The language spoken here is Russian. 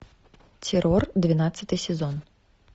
террор двенадцатый сезон